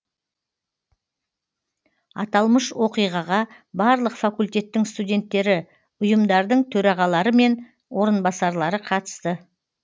аталмыш оқиғаға барлық факультеттің студенттері ұйымдардың төрағалары мен орынбасарлары қатысты